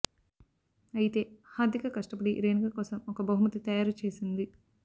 అయితే హర్ధిక కష్ట పడి రేణుక కోసం ఒక బహుమతి తయారు చేసింది